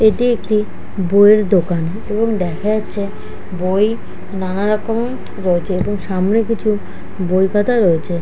এইটি একটি বই এর দোকান এবং দেখা যাচ্ছে বই নানা রকম রয়েছে এবং সামনে কিছু বই পাতা রয়েছে।